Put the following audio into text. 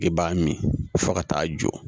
I b'a min fɔ ka taa jɔ